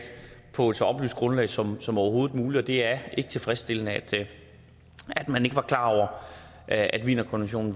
på et så oplyst grundlag som som overhovedet muligt og det er ikke tilfredsstillende at man ikke var klar over at wienerkonventionen